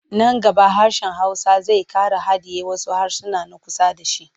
Nan gaba hsrshen Hausa zai ƙara hadiye wasu harasan na kusa da shi.